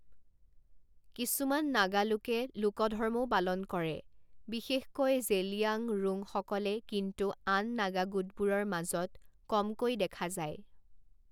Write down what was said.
কিছুমান নাগালোকে লোক ধৰ্মও পালন কৰে, বিশেষকৈ জেলিয়াংৰোঙসকলে, কিন্তু আন নাগা গোটবোৰৰ মাজত কমকৈ দেখা যায়।